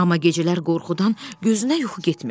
Amma gecələr qorxudan gözünə yuxu getmirdi.